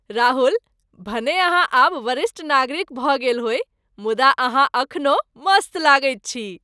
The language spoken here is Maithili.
राहुल, भने अहाँ आब वरिष्ठ नागरिक भऽ गेल होइ, मुदा अहाँ एखनहु मस्त लगैत छी।